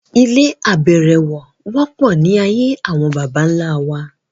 Ilé abẹ̀rẹ̀wọ̀ wọ́pọ̀ ní ayé àwọn bàbà ńlá wa